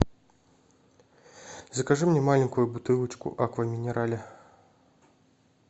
закажи мне маленькую бутылочку аква минерале